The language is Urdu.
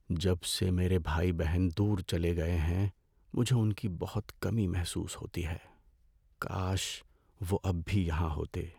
جب سے میرے بہن بھائی دور چلے گئے ہیں مجھے ان کی بہت کمی محسوس ہوتی ہے۔ کاش وہ اب بھی یہاں ہوتے۔